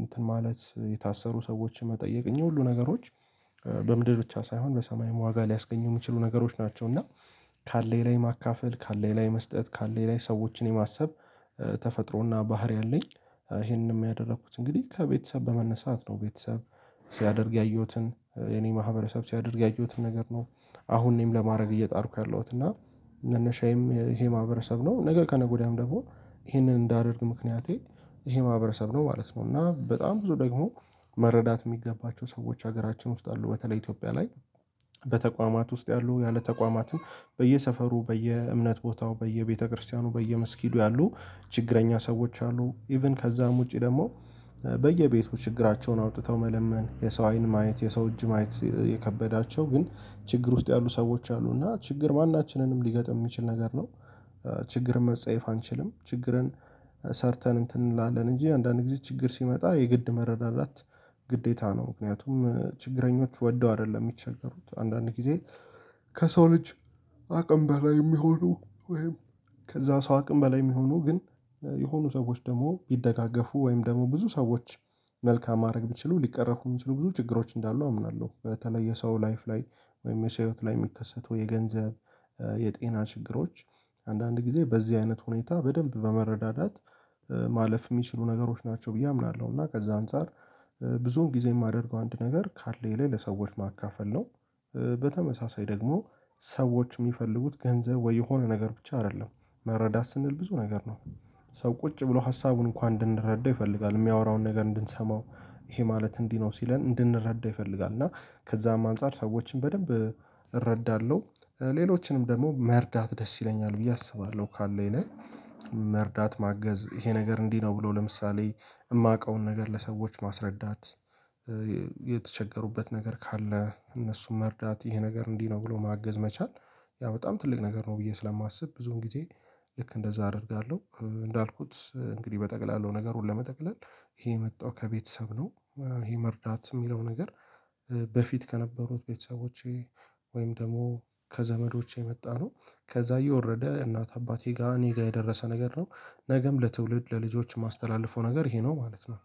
እንትን ማለት የታሰሩ ሰዎችን መጠየቅ እኝህ ሁሉ ነገሮች በምድር ብቻ ሳይሆን በሰማይም ዋጋ ሊያስገኝ የሚችሉ ነገሮች ናቸው። እና ካለኝ ላይ ማካፈል፣ ካለኝ ላይ መስጠት፣ ካለኝ ላይ ሰዎችን የማሰብ ተፈጥሮና ባህሪ አለኝ። ይሄንንም ያደረኩት እንግዲህ ከቤተሰብ በመነሳት ነው ቤተሰብ ሲያደርግ ያየሁትን፣ የኔ ማህበረሰብ ሲያደርግ ያየሁትን ነገር ነው፣ አሁን እኔም ለማድረግ እየጣርኩ ያለሁት እና መነሻየም ይሄ ማህበረሰብ ነው ነገ ከነገ ወዲያም ደግሞ ይሄንን እንዳደርግ ምክንያቴ ይሄ ማህበረሰብ ነው ማለት ነው። እና በጣም ብዙ ደግሞ መረዳት የሚገባቸው ሰዎች ሀገራችን ውስጥ አሉ። በተለይ ኢትዮጵያ ላይ በተቋማት ውስጥ ያሉ፣ ያለ ተቋማትም በየሰፈሩ፣ በየእምነት ቦታው፣ በየቤተክርስቲያኑ፣ በየመስጊዱ ያሉ፣ ችግረኛ ሰዎች አሉ። ኢቭን ከዛም ውጪ ደግሞ በየቤቱ ችግራቸውን አውጥተው መለመን የሰው አይን ማየት የሰው እጅ ማየት የከበዳቸው ግን ችግር ውስጥ ያሉ ሰዎች አሉ። እና ችግር ማናችንንም ሊገጥም የሚችል ነገር ነው። ችግርን መጸየፍ አንችልም ችግርን ሰርተን እንትን እንላለን እንጂ አንዳንድ ጊዜ ችግር ሲመጣ የግድ መረዳዳት ግዴታ ነው። ምክንያቱም ችግረኞች ወደው አይደለም የሚቸገሩት። አንዳንድ ጊዜ ከሰው ልጅ አቅም በላይ የሚሆኑ ወይም ከዛ ሰው አቅም በላይ የሚሆኑ ግን የሆኑ ሰዎች ደግሞ ቢደጋገፉ ወይም ደግሞ ብዙ ሰዎች መልካም ማድረግ ቢችሉ ሊቀረፉ የሚችሉ ብዙ ችግሮች እንዳሉ አምናለሁ። በተለየ ሰው ላይፍ ላይ ወይም የሰው ህይወት ላይ የሚከሰቱ የገንዘብ፣ የጤና ችግሮች አንዳንድ ጊዜ በዚህ አይነት ሁኔታ በደንብ በመረዳዳት ማለፍ የሚችሉ ነገሮች ናቸው ብዬ አምናለሁ። እና ከዛ አንፃር ብዙም ጊዜ የማደርገው አንድ ነገር ካለኝ ላይ ለሰዎች ማካፈል ነው። በተመሳሳይ ደግሞ ሰዎች የሚፈልጉት ገንዘብ ወይ የሆነ ነገር ብቻ አይደለም። መረዳት ስንል ብዙ ነገር ነው። ሰው ቁጭ ብሎ ሀሳቡን እንኳን እንድንረዳው ይፈልጋል። የሚያወራውን ነገር እንድንሰማው ይሄ ማለት እንዲህ ነው ሲለን እንድንረዳ ይፈልጋል። እና ከዛም አንፃር ሰዎችን በደንብ እረዳለሁ ሌሎችንምን ደግሞ መርዳት ደስ ይለኛል ብዬ አስባለሁ ካለኝ ላይ። መርዳት ማገዝ ይሄ ነገር እንዲህ ነው ብሎ ለምሳሌ የማውቀውን ነገር ለሰዎች ማስረዳት የተቸገሩበት ነገር ካለ እነሱም መርዳት ይሄ ነገር እንዲህ ነው ብሎ ማገዝ መቻል ያ በጣም ትልቅ ነገር ነው ብዬ ስለማስብ ብዙም ጊዜ ልክ እንደዛ አደርጋለሁ። እንዳልኩት እንግዲህ በጠቅላላው ነገሩን ለመጠቅለል ይሄ የመጣው ከቤተሰብ ነው። ይሄ መርዳት የሚለው ነገር በፊት ከነበሩት ቤተሰቦቼ ወይም ደግሞ ከዘመዶቼ የመጣ ነው። ከዛ እየወረደ እናት አባቴ ጋር እኔ ጋር የደረሰ ነገር ነው። ነገም ለትውልድ ለልጆች የማስተላልፈው ነገር ይሄ ነው ማለት ነው።